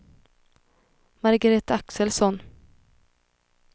Margareta Axelsson